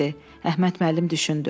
Əhməd müəllim düşündü.